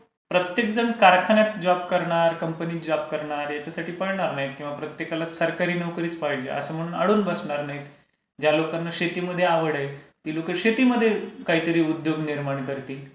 प्रत्येक जण कारखान्यात जॉब करणार, कंपनीत जॉब करणार याच्यासाठी पळणार नाही किंवा प्रत्येकाला सरकारी नोकरीचं पाहिजे असं म्हणून अडून बसणार नाही. ज्या लोकांना शेतीमध्ये आवड आहे. ती लोकं शेतीमध्ये काहीतरी उद्योग निर्माण करतील.